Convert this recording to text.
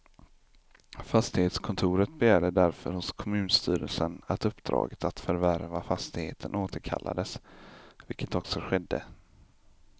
Fastighetskontoret begärde därför hos kommunstyrelsen att uppdraget att förvärva fastigheten återkallades, vilket också skedde.